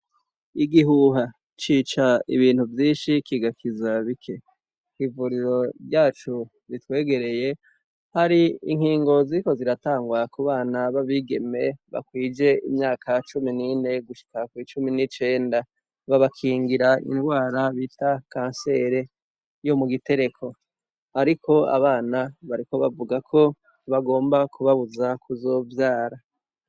Igihuha cica ibintu vyinshi kigakiza bike .Ivuriro ryacu ritwegereye hari inkingo ziko ziratangwa kubana babigeme bakwije imyaka cumi nine gushika ku icumi n'icenda .Babakingira indwara bita kansere yo mu gitereko ariko abana bariko bavuga ko bagomba kubabuza kuzovyara.